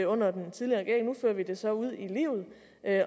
under den tidligere regering nu fører vi det så ud i livet